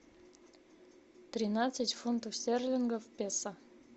тринадцать фунтов стерлингов в песо